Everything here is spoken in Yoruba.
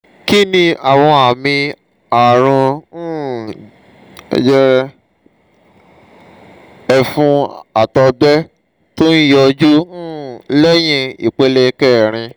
kí ni àwọn àmì àrùn um jẹjẹrẹ ẹ̀fun àtọgbẹ tó ń yọjú um lẹ́yìn ìpele kẹrin?